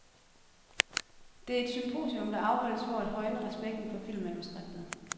Det er et symposium, der afholdes for at højne respekten for filmmanuskriptet.